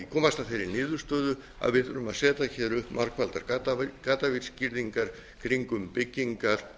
komast að þeirri niðurstöðu að við þyrftum að setja hér upp margfaldar gaddavírsgirðingar kringum byggingar